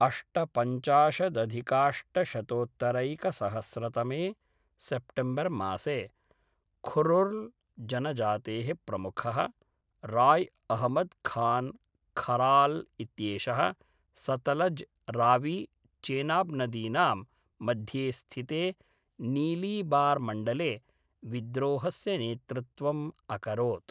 अष्टपञ्चाशदधिकाष्टशतोत्तरैकसहस्रतमे सेप्टेम्बर्मासे खुर्रुल्जनजातेः प्रमुखः, राय् अहमद् खान् खराल् इत्येषः सतलज् रावी चेनाब्नदीनां मध्ये स्थिते नीलीबार्मण्डले, विद्रोहस्य नेतृत्वम् अकरोत्।